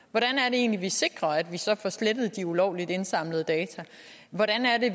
egentlig vi sikrer at vi så får slettet de ulovligt indsamlede data hvordan er det